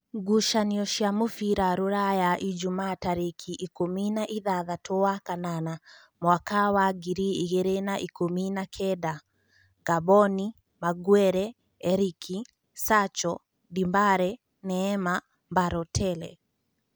Ngucanio cia mũbira Ruraya Ijumaa tarĩki ikũmi na ithathatũ wa kanana mwaka wa ngiri igĩrĩ na-ikũmi na-kenda: Ngamboni, Maguere, Erĩki, Sacho, Ndĩmbare, Neema, Mbarotere